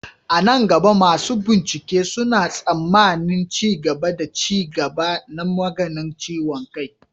A nan gaba, masu bincike suna tsammanin ci gaba da ci gaba na maganin ciwon kai.